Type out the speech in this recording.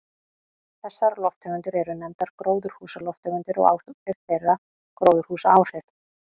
Þessar lofttegundir eru nefndar gróðurhúsalofttegundir og áhrif þeirra gróðurhúsaáhrif.